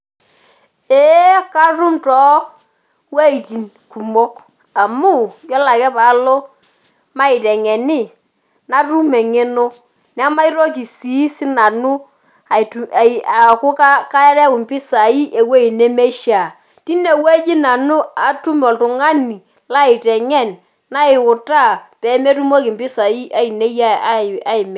Ee katum towueiting kumok amu, yiolo ake palo maiteng'eni, natum eng'eno. Nemaitoki si sinanu aku kareu impisai ewoi nemeishaa. Tinewueji nanu atum oltung'ani laiteng'en, nautaa pemetumoki impisai ainei aimina.